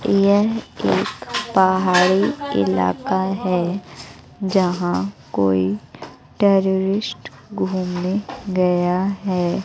यह एक पहाड़ी इलाका है जो जहां कोई टेररिस्ट घूमने गया हैं।